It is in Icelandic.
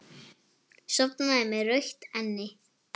Sofnaði með rautt enni.